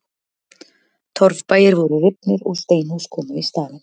Torfbæir voru rifnir og steinhús komu í staðinn.